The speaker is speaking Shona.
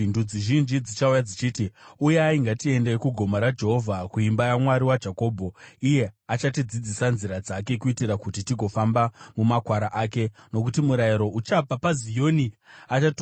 Ndudzi zhinji dzichauya dzichiti, “Uyai ngatiendei kugomo raJehovha, kuimba yaMwari waJakobho Iye achatidzidzisa nzira dzake, kuitira kuti tigofamba mumakwara ake.” Nokuti murayiro uchabva paZioni, shoko raJehovha richabva kuJerusarema.